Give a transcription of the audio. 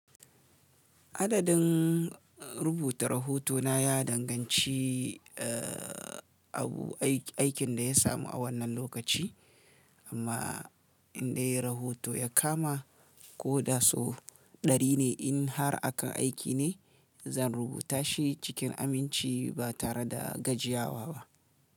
Adadin rubuta rahoto na ya danganci abun aikin da ya samu a wannan lokaci, amma in dai rahoto ya kama ko da sau dari ne in har akan aiki ne zan rubuta shi cikin aminci ba tare da gajiyawa ba.